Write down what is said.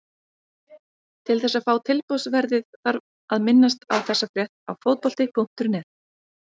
Til þess að fá tilboðsverðið þarf að minnast á þessa frétt á Fótbolti.net.